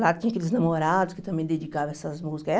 Lá tinha aqueles namorados que também dedicavam essas músicas.